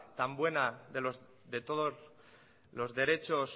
tan buena de todos los derechos